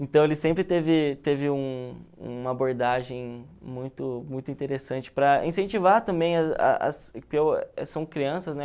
Então, ele sempre teve teve um uma abordagem muito muito interessante para incentivar também são crianças, né?